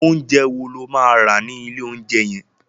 Oúnjẹ wo lo máa rà ní ilé oúnjẹ yẹn?